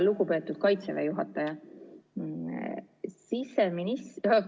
Lugupeetud Kaitseväe juhataja!